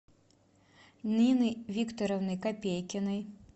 нины викторовны копейкиной